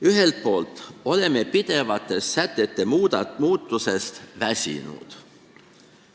Ühelt poolt oleme pidevast sätete muutusest väsinud.